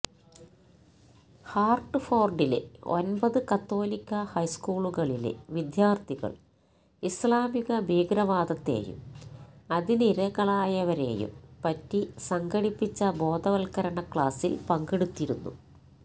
ഹാർട്ട്ഫോർഡിലെ ഒൻപതു കത്തോലിക്കാ ഹൈസ്കൂളുകളിലെ വിദ്യർത്ഥികൾ ഇസ്ലാമിക ഭീകരവാദത്തെയും അതിനിരകളായവരെയും പറ്റി സംഘടിപ്പിച്ച ബോധവൽക്കരണ ക്ലാസിൽ പങ്കെടുത്തിരുന്നു